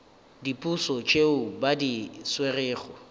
diposo tšeo ba di swerego